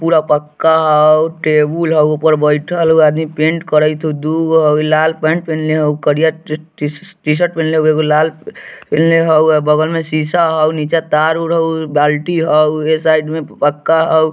पूरा पक्का हउ टेबुल हउ ऊपर बइठल हउ आदमी पेंट करइत हउ दू गो हउ लाल पेण्ट पेनले हउ करिया टी-टी शर-टीशर्ट पेनले हउ एगो लाल पेनले हउ अ बगल में सीसा हउ नीचे तार उर हउ बाल्टी हउ उ ऐ साइड में पक्का हउ।